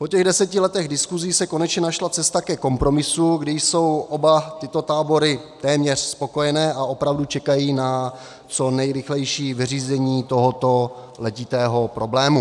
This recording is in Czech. Po těch deseti letech diskusí se konečně našla cesta ke kompromisu, kdy jsou oba tyto tábory téměř spokojené a opravdu čekají na co nejrychlejší vyřízení tohoto letitého problému.